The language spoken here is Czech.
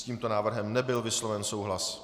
S tímto návrhem nebyl vysloven souhlas.